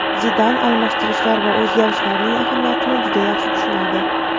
Zidan almashtirishlar va o‘zgarishlarning ahamiyatini juda yaxshi tushunadi.